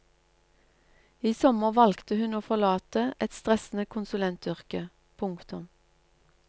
I sommer valgte hun å forlate et stressende konsulentyrke. punktum